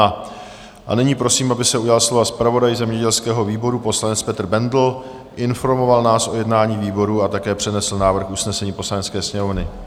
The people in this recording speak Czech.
A nyní prosím, aby se ujal slova zpravodaj zemědělského výboru poslanec Petr Bendl, informoval nás o jednání výboru a také přednesl návrh usnesení Poslanecké sněmovny.